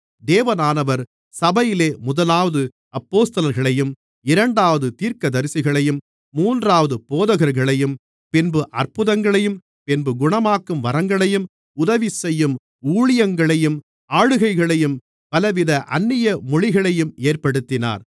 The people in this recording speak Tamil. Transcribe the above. தேவனானவர் சபையிலே முதலாவது அப்போஸ்தலர்களையும் இரண்டாவது தீர்க்கதரிசிகளையும் மூன்றாவது போதகர்களையும் பின்பு அற்புதங்களையும் பின்பு குணமாக்கும் வரங்களையும் உதவி செய்யும் ஊழியங்களையும் ஆளுகைகளையும் பலவித அந்நிய மொழிகளையும் ஏற்படுத்தினார்